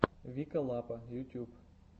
вика лапа ютьюб